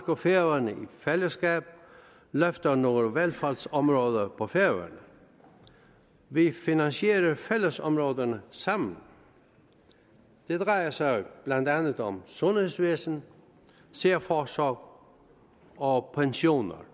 og færøerne i fællesskab løfter nogle velfærdsområder på færøerne vi finansierer fællesområderne sammen det drejer sig blandt andet om sundhedsvæsen særforsorg og pensioner